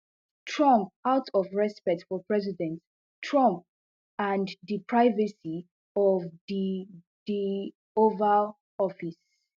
trump out of respect for president trump and di privacy of di di oval office